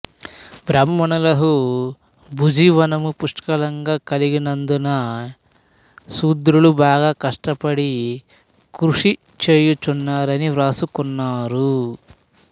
బ్రాహ్మణులకు భూజీవనము పుష్కలంగా కలిగున్నదని శూద్రులు బాగా కష్టపడి కృషిచేయుచున్నారని వ్రాసుకున్నారు